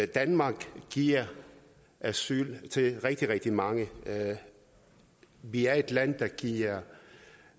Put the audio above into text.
danmark giver asyl til rigtig rigtig mange vi er et land der giver